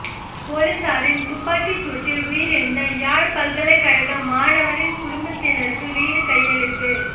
பொலிசாரின் துப்பாக்கிச் சூட்டில் உயிரிழந்த யாழ் பல்கலைக்கழக மாணவனின் குடும்பத்தினருக்கு வீடு கையளிப்பு